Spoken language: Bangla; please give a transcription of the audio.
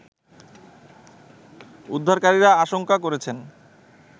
উদ্ধারকারীরা আশংকা করছেন